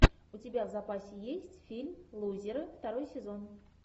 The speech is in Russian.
у тебя в запасе есть фильм лузеры второй сезон